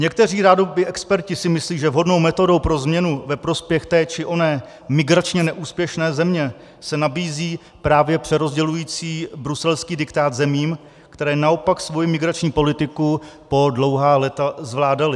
Někteří rádoby experti si myslí, že vhodnou metodou pro změnu ve prospěch té či oné migračně neúspěšné země se nabízí právě přerozdělující bruselský diktát zemím, které naopak svoji migrační politiku po dlouhá léta zvládaly.